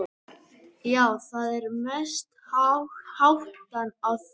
Já, það er mest hættan á því.